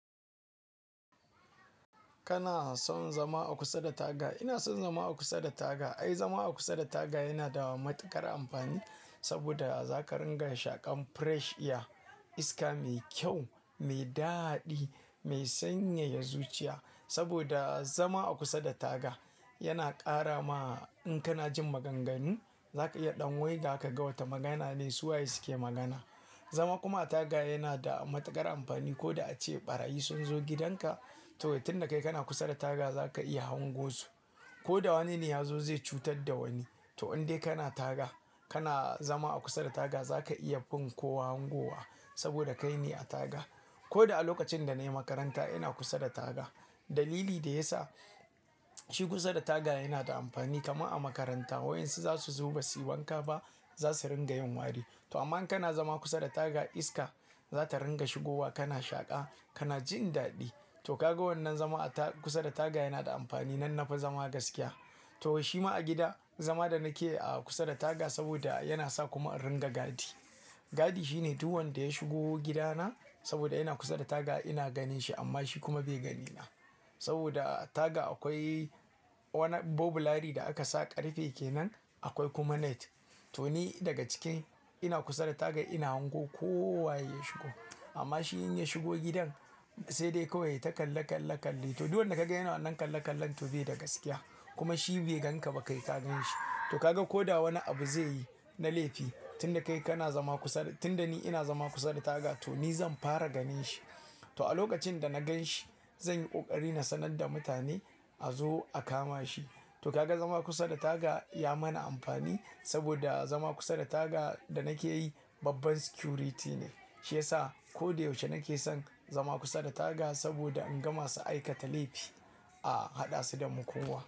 Kana son zama a kusa da taga? Ina son zama a kusa da taga. Ai zama a kusa da taga yana dawa matuƙar amfani saboda za ka ringa shaƙan fresh air, iska mai kyau, mai daɗi, mai sanyaya zuciya. Saboda zama a kusa da taga yana ƙara ma in kana jin maganganu za ka iya ɗan waiga kaga wata magana ne su waye suke magana. Zama kuma taga yana da matuƙar amfani ko da ace ɓarayi sun zo gidanka, to tun da kai kana kusa da taga za ka iya hango su. Ko da wane ne ya zo zai cutar da wani, to in dai kana taga kana zama a kusa da taga za ka iya bin ko hango wa saboda kai ne a taga. Ko da a lokacin da na yi makaranta ina kusa da taga. Dalili da ya sa shi kusa da taga yana da amfani. Kama a makaranta wayan su za su zo basuyi wanka ba, za su ringa yin wari. To amma in kana zama kusa da taga, iska za ta ringa shigowa kana shaƙa kana jin daɗi. To kaga wannan zama a ta kusa da taga yana da amfani nan nafi zama gaskiya. To shima a gida zama da nake a kusa da taga saboda yana sa kuma in ringa gadi. Gadi shine duk wanda ya shigo gidanka, saboda ina kusa da taga ina ganin shi amma shi kuma bai gani na. Saboda taga akwai wani buglary da aka sa ƙarfe kenan akwai kuma net. To ni daga cikin ina kusa da taga ina hango ko waye ya shigo. Amma shi in ya shigo gidan sai dai kawai ya yi ta kalle, kalle, kalle. To duk wanda ka gani wannan kalle kallen to bai da gaskiya kuma shi bai gan ka ba kai ka gan shi. To kaga ko da wani abu zai yi na laifi, tun da kai kana zama kusa da-- tun da ni ina zama kusa da taga to ni zan fara ganin shi. To a lokacin da na gan shi zan yi ƙoƙari na sanar da mutane a zo a kama shi. To kaga zama kusa da taga ya mana amfani saboda zama kusa da taga da nake yi babban security ne. Shi ya sa ko da yaushe nake son zama kusa da taga saboda in gama su aikata laifi a haɗa su da makunwa.